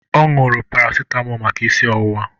Ọ ñụrụ parasịtamọl maka isi ọwụwa.